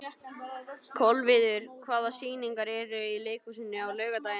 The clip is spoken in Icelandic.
Kolviður, hvaða sýningar eru í leikhúsinu á laugardaginn?